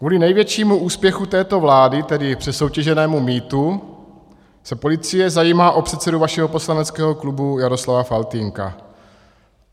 Kvůli největšímu úspěchu této vlády, tedy přesoutěženému mýtu, se policie zajímá o předsedu vašeho poslaneckého klubu Jaroslava Faltýnka.